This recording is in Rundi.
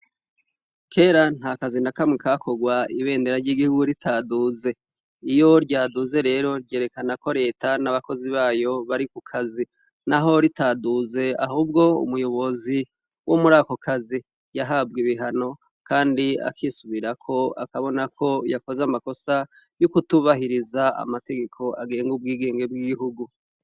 Kera nta kazi na kamwe kakogwa ibendera ry'igihugu ritaduze, iyo ryaduze rero ryerekana ko leta n'abakozi bayo bari ku kazi, naho ritaduze ahubwo umuyobozi wo muri ako kazi yahabwe ibihano kandi akisubirako akabona ko yakoze amakosa yo kutubahiriza amategeko agenga ubwigenge bw'igihugu.